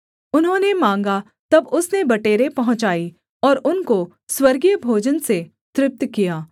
उन्होंने माँगा तब उसने बटेरें पहुँचाई और उनको स्वर्गीय भोजन से तृप्त किया